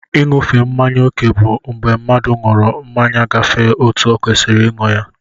I núfe mmáñyá okè bụ mgbé mmadụ nwụrụ mmanya gafee ọtu okwesiri ịnụ ya.